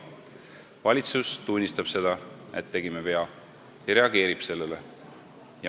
Valitsus tunnistab seda, et tegime vea, ja reageerib sellele.